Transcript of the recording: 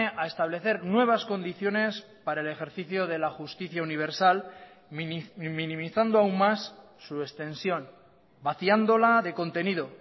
a establecer nuevas condiciones para el ejercicio de la justicia universal minimizando aún más su extensión vaciándola de contenido